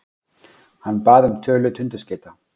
Hann bað um tölu tundurskeyta.